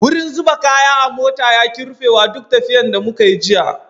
Wurin zuba kaya a mota ya ki rufewa duk tafiyan da muka yi jiya.